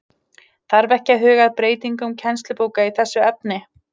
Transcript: Þarf ekki að huga að breytingum kennslubóka í þessu efni?